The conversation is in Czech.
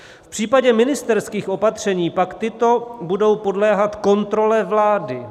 V případě ministerských opatření pak tato budou podléhat kontrole vlády.